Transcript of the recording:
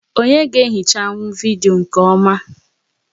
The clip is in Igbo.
Onyé ga-ehichanwu vidiyo nkè ọma?